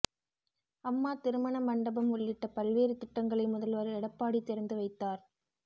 அம்மா திருமண மண்டபம் உள்ளிட்ட பல்வேறு திட்டங்களை முதல்வர் எடப்பாடி திறந்து வைத்தார்